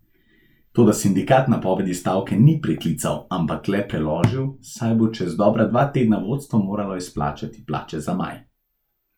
Toda sindikat napovedi stavke ni preklical, ampak le preložil, saj bo čez dobra dva tedna vodstvo moralo izplačati plače za maj.